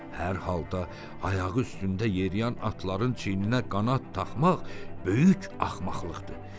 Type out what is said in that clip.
Hər halda, ayağı üstündə yeriyən atların çiyninə qanad taxmaq böyük axmaqlıqdır.